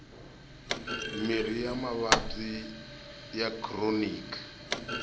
mirhi ya mavabyi ya khironiki